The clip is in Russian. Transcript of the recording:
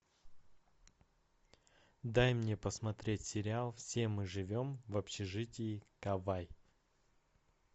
дай мне посмотреть сериал все мы живем в общежитии кавай